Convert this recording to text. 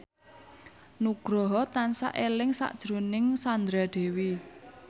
Nugroho tansah eling sakjroning Sandra Dewi